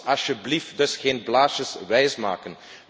Laat ons alsjeblieft dus geen blaasjes wijsmaken.